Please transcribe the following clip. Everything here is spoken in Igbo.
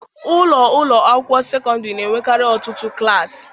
Ụlọ ụlọ akwụkwọ sekọndịrị na-enwekarị ọtụtụ klaasị.